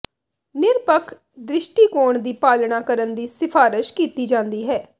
ਨਿਰਪੱਖ ਦ੍ਰਿਸ਼ਟੀਕੋਣ ਦੀ ਪਾਲਣਾ ਕਰਨ ਦੀ ਸਿਫਾਰਸ਼ ਕੀਤੀ ਜਾਂਦੀ ਹੈ